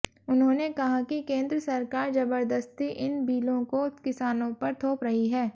उन्होंने कहा कि केन्द्र सरकार जबरदस्ती इन बिलों को किसानों पर थोप रही है